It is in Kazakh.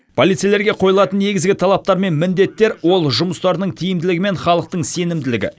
полицейлерге қойылатын негізгі талаптар мен міндеттер ол жұмыстарының тиімділігі мен халықтың сенімділігі